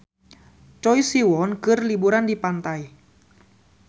Choi Siwon keur liburan di pantai